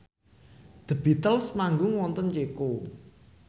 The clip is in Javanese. The Beatles manggung wonten Ceko